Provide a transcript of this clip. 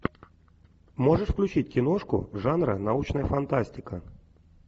можешь включить киношку жанра научная фантастика